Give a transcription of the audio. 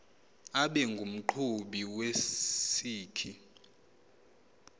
abe ngumqhubi wesikhi